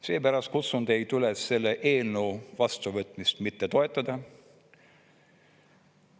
Seepärast kutsun teid üles selle eelnõu vastuvõtmist mitte toetama.